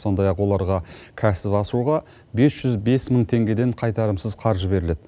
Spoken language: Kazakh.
сондай ақ оларға кәсіп ашуға бес жүз бес мың теңгеден қайтарымсыз қаржы беріледі